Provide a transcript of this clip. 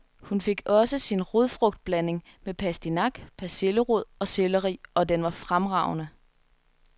Hun fik også sin rodfrugtblanding, med pastinak, persillerod og selleri, og den var fremragende.